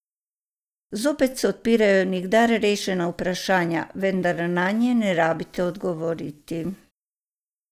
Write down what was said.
Zopet se odpirajo nikdar rešena vprašanja, vendar nanje ne rabite odgovoriti.